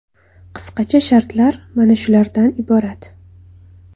Qisqacha shartlar mana shulardan iborat.